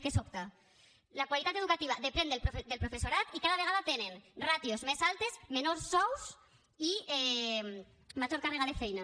que sobta la qualitat educativa depèn del professorat i cada vegada tenen ràtios més altes menors sous i major càrrega de feina